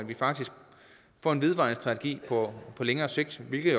vi faktisk får en vedvarende strategi på længere sigt det er